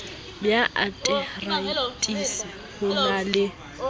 ya ateraetisi ho na le